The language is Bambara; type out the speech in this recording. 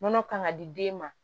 Nɔnɔ kan ka di den ma